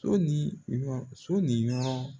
So ni u ka so ni ɲɔgɔn